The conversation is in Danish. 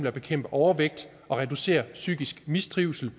at bekæmpe overvægt og reducere psykisk mistrivsel